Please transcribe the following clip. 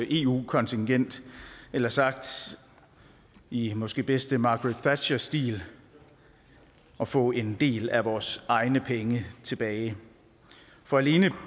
eu kontingent eller sagt i måske bedste margaret thatcher stil at få en del af vores egne penge tilbage for alene